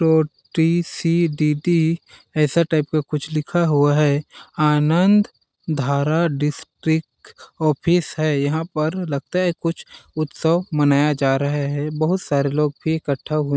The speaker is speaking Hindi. ओ_टी_सी_डी_डी ऐसा टाइप का कुछ लिखा हुआ है आनंद धारा डिस्ट्रिक्ट ऑफिस है यहां पर लगता है कुछ उत्सव मनाया जा रहा है बहुत सारे लोग भी इकट्ठा हुए --